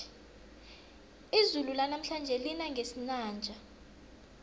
izulu lanamhlanje lina ngesinanja